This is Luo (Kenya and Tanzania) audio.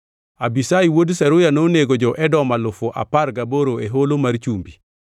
Abishai wuod Zeruya nonego jo-Edom alufu apar gaboro e Holo mar Chumbi.